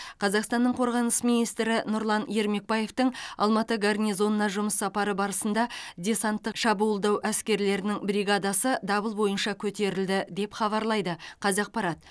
қазақстанның қорғаныс министрі нұрлан ермекбаевтың алматы гарнизонына жұмыс сапары барысында десанттық шабуылдау әскерлерінің бригадасы дабыл бойынша көтерілді деп хабарлайды қазақпарат